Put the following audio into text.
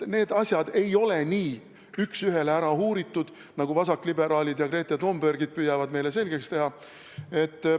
Need asjad ei ole nii üks ühele ära uuritud, nagu vasakliberaalid ja Greta Thunbergid püüavad meile selgeks teha.